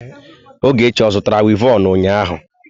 Ogechi zụtara wivọnụ ụnyahụ?